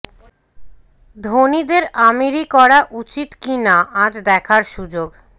ধোনিদের আমিরি করা উচিত কি না আজ দেখার সুযোগ